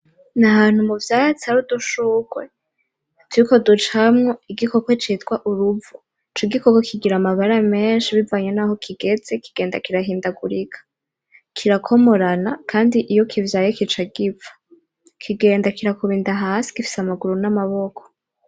N'ahantu muvyatsi hari udushugwe turiko ducamwo igikoko citwa uruvo ico gikoko kigira amabara menshi bivanye naho kigeze kigenda kirahindagurika kirakomorana kandi iyo kivyaye kica gipfa kigenda kirakuba inda hasi gifise amaguru n'amaboko